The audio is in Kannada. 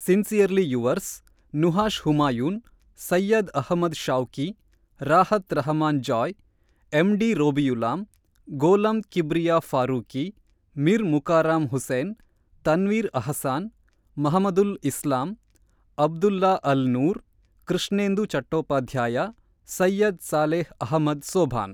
sincerely yours, Nuhash Humayun, Syed Ahmed Shawki, Rahat Rahman Joy, MD Robiulalam, Golam Kibria Farooqui, Mir Mukarram Hussain, Tanvir Ahsan, Mahmudul Islam, Abdullah Al Noor, Krishnendu Chattopadhyay, Syed Saleh Ahmed Sobhan